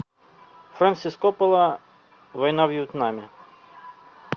фрэнсис коппола война во вьетнаме